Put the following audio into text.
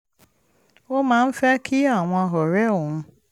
ó máa ń fẹ́ kí àwọn ọ̀rẹ́ òun